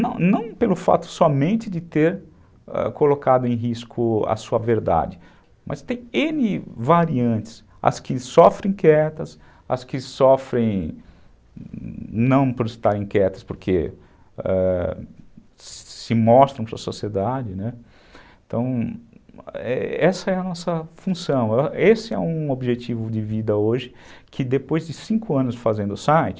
Não não pelo fato somente de ter colocado em risco a sua verdade, mas tem ene variantes. As que sofrem quietas, as que sofrem, não por estarem quietas, porque ãh se mostram para a sociedade, então essa é a nossa função, esse é um objetivo de vida hoje que depois de cinco anos fazendo o site